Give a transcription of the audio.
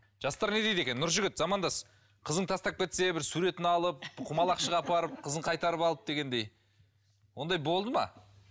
жастар не дейді екен нұржігіт замандас қызың тастап кетсе бір суретін алып құмалақшыға апарып қызын қайтарып алып дегендей ондай болды ма